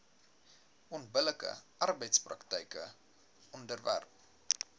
onbillike arbeidspraktyke onderwerp